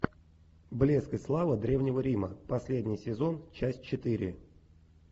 блеск и слава древнего рима последний сезон часть четыре